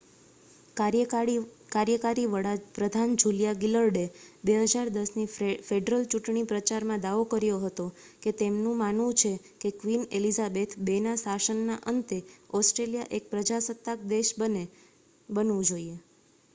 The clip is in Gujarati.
કાર્યકારી વડા પ્રધાન જુલિયા ગિલર્ડએ 2010 ની ફેડરલ ચૂંટણી પ્રચારમાં દાવો કર્યો હતો કે તેમનું માનવું છે કે ક્વીન એલિઝાબેથ ii ના શાસનના અંતે ઓસ્ટ્રેલિયા એક પ્રજાસત્તાક દેશ બનવું જોઇએ